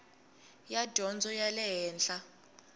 ya dyondzo ya le henhla